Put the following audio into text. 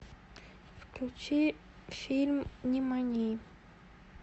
включи фильм нимани